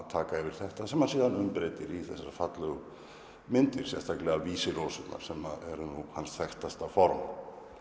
taka yfir þetta sem hann síðan umbreytir í þessa fallegu myndir sérstaklega Vísirósurnar sem er hans þekktasta formaður